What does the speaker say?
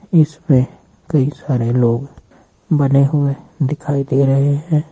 इसपे कई सारे लोग बने हुए दिखाई दे रहे हैं।